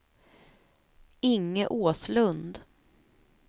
Inge Åslund